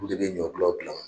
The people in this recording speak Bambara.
U de bɛ ɲɔgulɔw dilan